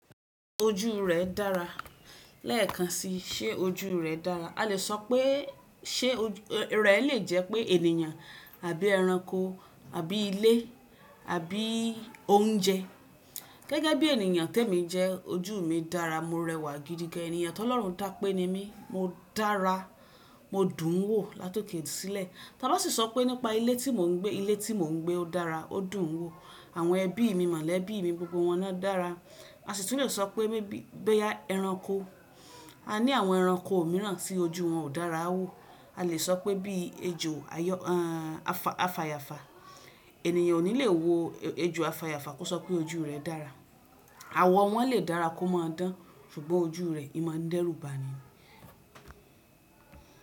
Ojú rẹ̀ dára. Lẹ́ẹ̀kan si, ṣé ojú rẹ̀ dára? A lè sọ pé ṣé rẹ̀ lè jẹ́ pé ènìyàn àbí ẹranko àbí ilé àbí oúnjẹ. Gẹ́gẹ́ bí ènìyàn tẹ́ mi jẹ, ojú mi dára, mo rẹwà gidi gan. Ènìyàn tó lọ́run tá pé ni mí, mo dára, mo dùn ún wò látòké sílé. Tani o sì sọ pé nípa ilé tí mò ń gbé. Ilé tí mò ń gbé ó dára, ó dùn ún wò. Àwọn ẹbí mi mọ̀lẹ́bí mi gbogbo wọn náa dára. A sì tún lè sọ pé maybe boya ẹranko. A ní àwọn ẹranko mìíràn tí ojú wọn ò dára wò. A lè sọ pé bí i ejò àyà-- a fa-- afàyàfà, ènìyàn ò ní lè wo ejò afàyàfà kó sọ pé ojú rẹ̀ dára. Àwọ̀ wọn lè dára kó máa dán ṣùgbọ́n ojú rẹ̀, imọ́ dẹ́rùbà ni.